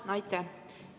Aitäh!